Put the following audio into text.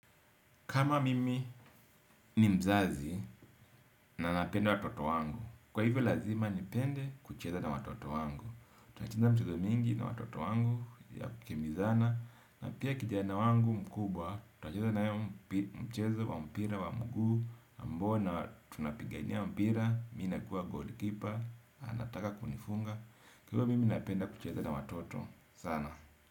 Kama mimi ni mzazi na napenda watoto wangu. Kwa hivyo lazima nipende kucheza na watoto wangu. Tunacheza michezo mingi na watoto wangu ya kukimbizana. Na pia kijana wangu mkubwa. Tunacheza na yeye mchezo wa mpira wa mguu. Ambao na tunapigania mpira. Mimi ninakuwa goalkeeper. Anataka kunifunga. Kwa hivyo mimi napenda kucheza na watoto. Sana.